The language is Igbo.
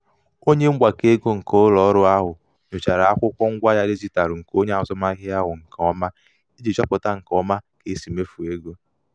onye mgbakọego nke ụlọọrụ ahụ nyochara akwụkwọ ngwaahịa dijitalụ nke onye azụmahịa ahụ nke ọma iji chọpụta nke ọma ka e si mefuo ego.